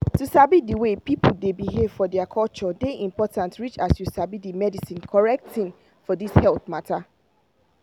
to sabi di way people dey behave for their culture dey important reach as you sabi the medicine correct thing for this health mata